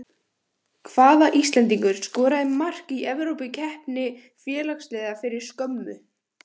Hvaða Íslendingur skoraði mark í evrópukeppni félagsliða fyrir skömmu?